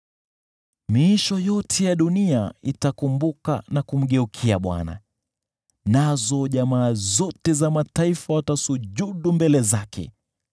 Miisho yote ya dunia itakumbuka na kumgeukia Bwana , nazo jamaa zote za mataifa watasujudu mbele zake,